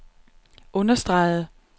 understregede